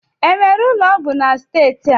Enwere ụlọ ọgwụ na steeti a?